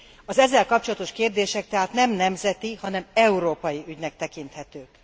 Az ezzel kapcsolatos kérdések tehát nem nemzeti, hanem európai ügynek tekinthetők.